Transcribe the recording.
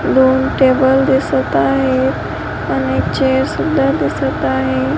दोन टेबल दिसत आहेत आणि एक चेअर सुद्धा दिसत आहे.